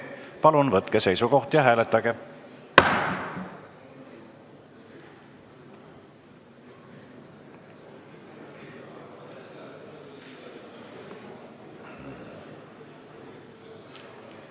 Palun võtke seisukoht ja hääletage!